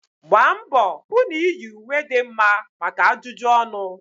Gbaa mbọ hụ na iyi ùwé dị mma maka ajụjụ ọnụ